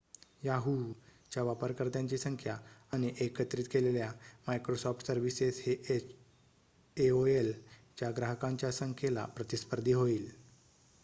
Yahoo च्या वापरकर्त्यांची संख्या आणि एकत्रित केलेल्या मायक्रोसॉफ्ट सर्विसेस हे एओएल च्या ग्राहकांच्या संख्येला प्रतिस्पर्धी होईल